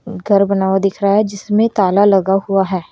घर बना हुआ दिख रहा है जिसमे ताला लगा हुआ है।